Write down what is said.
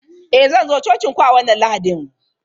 Eh, zan zo cocin ku a wannan Lahadin.